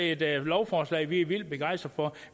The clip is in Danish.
et lovforslag vi er vildt begejstret for